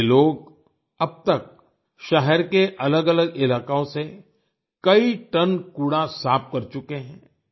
ये लोग अब तक शहर के अलगअलग इलाकों से कई टन कूड़ा साफ़ कर चुके हैं